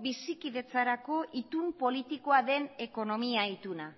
bizikidetzarako itun politikoa den ekonomia ituna